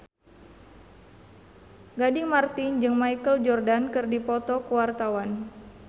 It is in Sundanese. Gading Marten jeung Michael Jordan keur dipoto ku wartawan